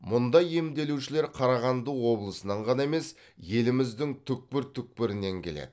мұнда емделушілер қарағанды облысынан ғана емес еліміздің түкпір түкпірінен келеді